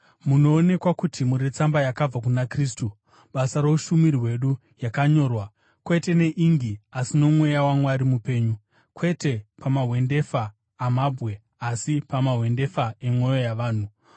Munoonekwa kuti muri tsamba yakabva kuna Kristu, basa roushumiri hwedu, yakanyorwa, kwete neingi, asi noMweya waMwari mupenyu, kwete pamahwendefa amabwe, asi pamahwendefa emwoyo yavanhu.